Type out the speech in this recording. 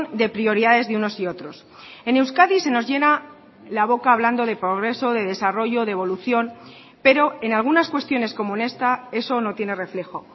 de prioridades de unos y otros en euskadi se nos llena la boca hablando de progreso de desarrollo de evolución pero en algunas cuestiones como esta eso no tiene reflejo